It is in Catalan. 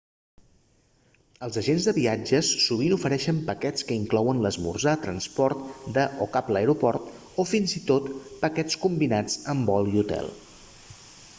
els agents de viatges sovint ofereixen paquets que inclouen l'esmorzar transport de/cap a l'aeroport o fins i tot paquets combinats amb vol i hotel